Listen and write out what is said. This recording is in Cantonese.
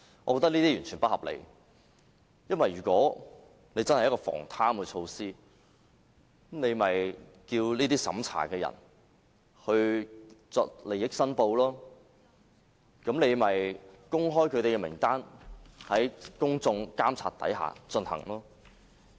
我認為這是完全不合理的，因為如果真的是一項防貪措施，便叫這些審查人員作利益申報，公開他們的名單，讓公眾進行監察。